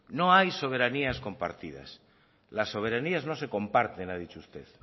no hay soberanías compartidas las soberanías no se comparten ha dicho usted